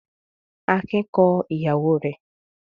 Akin kọ ìyàwó rẹ̀?